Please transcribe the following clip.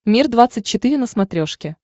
мир двадцать четыре на смотрешке